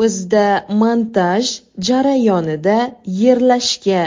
Bizda montaj jarayonida yerlashga